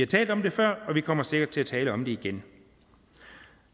talt om det før og vi kommer sikkert til at tale om det igen